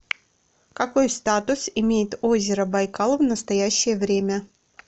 какой статус имеет озеро байкал в настоящее время